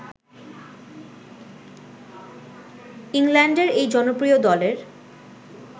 ইংল্যান্ডের এই জনপ্রিয় দলের